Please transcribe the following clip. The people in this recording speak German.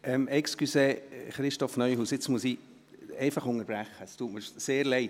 Entschuldigung, Christoph Neuhaus, jetzt muss ich einfach unterbrechen, es tut mir sehr leid.